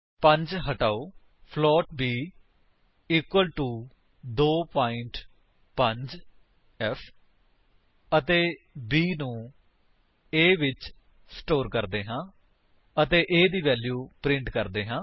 5 ਹਟਾਓ float b equal to 2 5ਫ਼ ਅਤੇ b ਨੂੰ a ਵਿੱਚ ਸਟੋਰ ਕਰਦੇ ਹਾਂ ਅਤੇ a ਦੀ ਵੈਲਿਊ ਪ੍ਰਿੰਟ ਕਰਦੇ ਹਾਂ